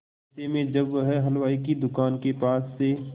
ऐसे में जब वह हलवाई की दुकान के पास से